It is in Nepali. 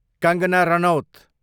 कङ्गना रनवत